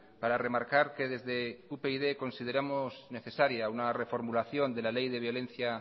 para remarcar que desde upyd consideramos necesaria una reformulación de la ley de violencia